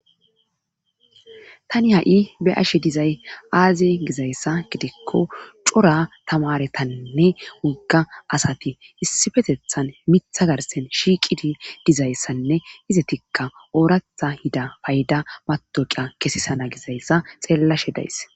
tani ha7i be ashe dizay aaze gizayssa gidikko cora tamaretainne wogga asati issifetethan mitha garsen shiiqidi dizayssanne izetikka ooratha hida payda matoqiya kesisana gizayssa xeellashe days